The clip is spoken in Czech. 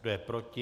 Kdo je proti?